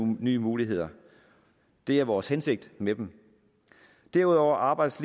nye muligheder det er vores hensigt med dem derudover arbejdes